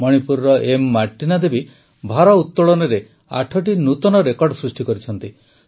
ମଣିପୁରର ଏମ୍ ମାର୍ଟିନା ଦେବୀ ଭାରୋତଳନରେ ୮ଟି ନୂତନ ରେକର୍ଡ଼ ସୃଷ୍ଟି କରିଛନ୍ତି